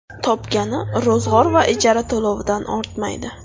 Topgani ro‘zg‘or va ijara to‘lovidan ortmaydi.